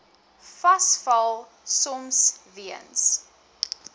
vasval soms weens